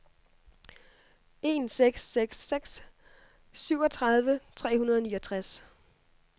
en seks seks seks syvogtredive tre hundrede og niogtres